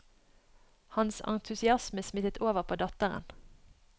Hans entusiasme smittet over på datteren.